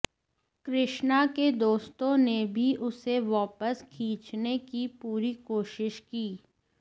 कृष्णा के दोस्तों ने भी उसे वापस खिंचने की पूरी कोशिश की